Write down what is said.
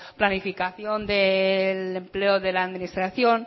planificación del empleo de la administración